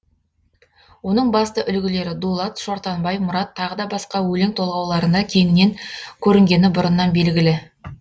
оның басты үлгілері дулат шортанбай мұрат тағы да басқа өлең толғауларына кеңінен көрінгені бұрыннан белгілі